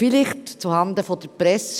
Zuhanden der Presse: